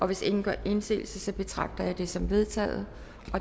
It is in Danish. hvis ingen gør indsigelse betragter jeg det som vedtaget